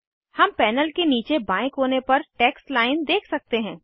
हम पैनल के नीचे बाएं कोने पर टेक्स्ट लाइन देख सकते हैं